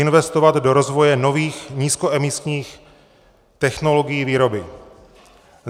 Investovat do rozvoje nových nízkoemisních technologií výroby.